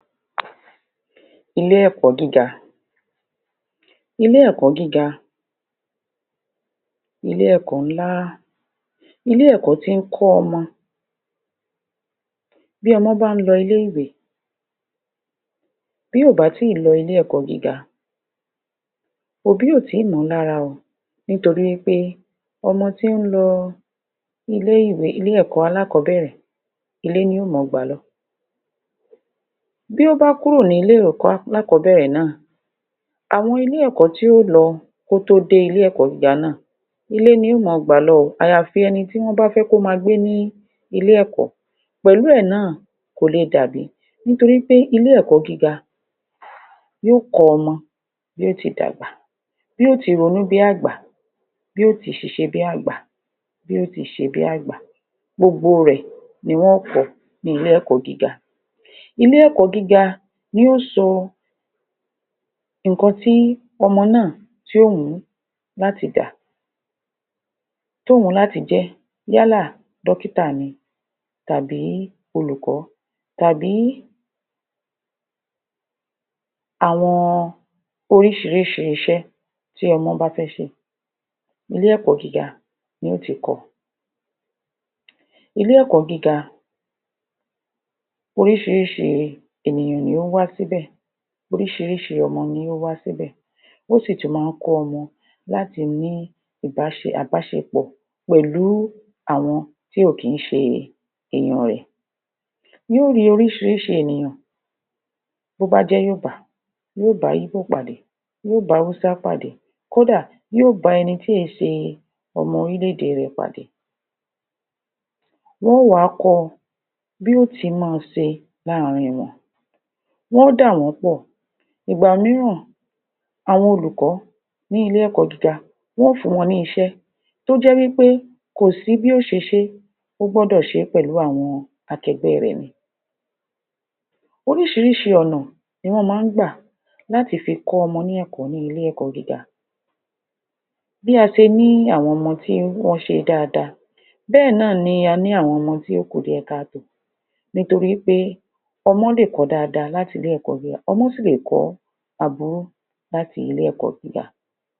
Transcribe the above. Ilé ẹ̀kọ́ gíga Ilé ẹ̀kọ́ gíga Ilé ẹ̀kọ́ ńlá Ilé ẹ̀kọ́ tí ń kọ́ ọmọ bí ọmọ bá ń lọ ilé ìwé bí kò bá tí ì lọ ilé ẹ̀kọ́ gíga Òbí ò tí ì mọ̀ ọ́ lára o nítorí wí pé ọmọ tí ń lọ ilé-ìwé alákọ̀ọ́bẹ̀rẹ̀ ilé ni yóò ma gbà lọ Bí ó bá kúrò ní ilé-ìwé alákọ̀ọ́bẹ̀rẹ̀ náà àwọn ilé-ẹ̀kọ́ tí yó lọ kó tó dé ilé-ẹ̀kọ́ gíga náà ilé ni yóò máa gbà lọ o àyàfi ẹni tí wọ́n bá fẹ́ kó máa gbé ní ilé-ẹ̀kọ́ pẹ̀lú ẹ̀ náà kò lè dàbí nítorí pé ilé ẹ̀kọ́ gíga yóò kọ́ ọmọ bí yóò ti dàgbà bí yóò ti ronú bí àgbà bí àgbà bí yóò ti ṣiṣẹ́ bí àgbà bí yóò ti ṣe bí àgbà gbogbo rẹ̀ ni wọn ó kọ ní ilé-ẹ̀kọ́ gíga ilé-ẹ̀kọ́ gíga ilé-ẹ̀kọ́ gíga ni yóò sọ nǹkan tí ọmọ náà tí ó wùn ún láti dà tí ó wùn ún láti dà tó wù ú láti jẹ́ yálà dọ́kítà tàbí olùkọ́ tàbí àwọn oríṣiríṣi iṣẹ́ tí ọmọ bá fẹ́ ṣe ilé-ẹ̀kọ́ gíga ni yóò ti kọ ilé-ẹ̀kọ́ gíga orísiríṣi ènìyàn ní ń wá sí bẹ̀ oríṣiríṣi ọmọ ní ń wá síbẹ̀ ó sì tún máa ń kọ́ ọmọ láti ní àbáṣepọ̀ pẹ̀lú àwọn tí kò kí ń ṣe èèyàn rẹ̀ yóò rí oríṣiríṣi ènìyàn bí ó bá jẹ́ yòòbá yóò bá íbò pàdé, yóò bá hausa pàdé kó dà, yóò bá ẹni tí kì í ṣe ọmọ orílẹ̀-èdè rẹ̀ pàdé wọ́n o wà á kọ́ ọ bí yóò ti máa ṣe láàrin wọn. Wọ́n ó dà wọ́n pọ̀ ìgbà míràn àwọn olùkọ́ ní ilé-ẹ̀kọ́ gíga wọ́n ó fún wọn ní iṣẹ́ tó jẹ́ wí pé kò sí bí yóò ṣe ṣé ó gbọ́dọ̀ ṣe pẹ̀lú àwọn akẹgbẹ́ rẹ̀ ni orísirísi ọ̀nà ni wọ́n máa ń gbà láti fi kọ́ ọmọ ní ilé-ẹ̀kọ́ gíga bí a se ní àwọn ọmọ tí wọ́n ṣe dáadáa bẹ́ẹ̀ náà ni a ní àwọn ọmọ tí ó kù díẹ̀ ká tòó nítorí wí pé ọmọ lè kọ́ dáadáa láti ilé-ẹ̀kọ́ gíga ọmọ sì lè kọ́ aburú láti ilé-ẹ̀kọ́ gíga